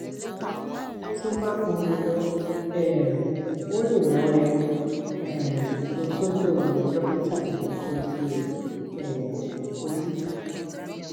tó bá pọn dandan um ó lè rán ẹ um lọ sọdọ dókítà tó ń tọjú um ojú